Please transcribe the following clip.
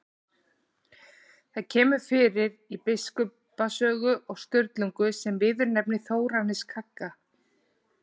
Það kemur fyrir í Biskupasögum og Sturlungu sem viðurnefni Þórarins kagga.